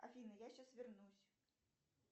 афина я сейчас вернусь